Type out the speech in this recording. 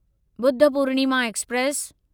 Budh Purnima express